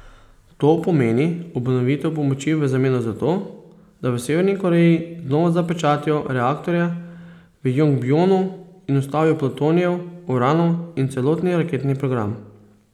To pomeni obnovitev pomoči v zameno za to, da v Severni Koreji znova zapečatijo reaktorje v Jongbjonu in ustavijo plutonijev, uranov in celotni raketni program.